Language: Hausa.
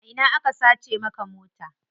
A ina aka sace maka mota?